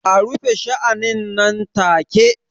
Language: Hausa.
A rufe sha'anin nan take!